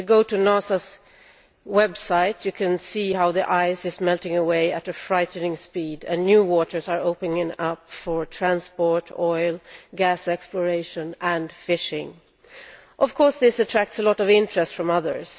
If you go NASA's website you can see how the ice is melting away at a frightening speed and new waters are opening up for transport, oil, gas exploration and fishing. Of course this attracts a lot of interest from others.